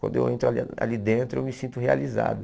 Quando eu entro ali ali dentro, eu me sinto realizado.